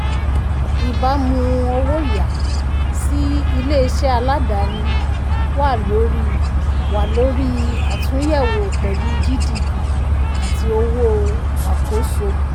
ìbámu owó yá um sí ilé-iṣẹ́ aládáàni wà lórí wà lórí àtúnyẹ̀wò pẹ̀lú gdp àti owó um àkóso. um